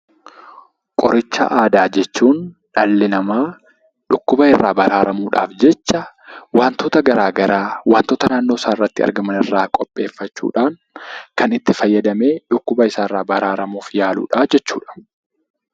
Qoricha aadaa jechuun dhalli namaa dhukkuba irraa baraaramuudhaaf jecha wantoota garaagaraa wantoota naannoo isaatti argaman irraa qopheeffachuudhaan kan itti fayyadamee dhukkuba isaarraa baraaramuudhaaf yaaludha jechuudha.